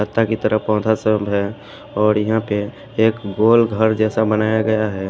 रत्ता बितर पौदा सेल रेऔर यहाँ पे एक बोर्ड हैजैसा लग रहा है।